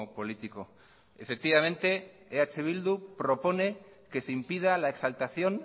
político efectivamente eh bildu propone que se impida la exaltación